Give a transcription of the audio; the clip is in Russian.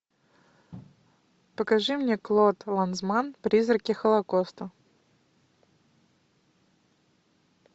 покажи мне клод ланзманн призраки холокоста